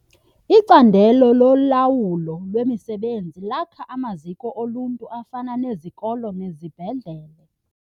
Icandelo lolawulo lwemisebenzi lakha amaziko oluntu afana nezikolo nezibhedlele.